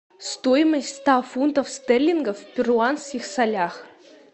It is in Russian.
стоимость ста фунтов стерлингов в перуанских солях